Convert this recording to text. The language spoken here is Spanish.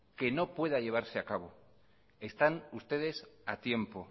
que no pueda llevarse a cabo están ustedes a tiempo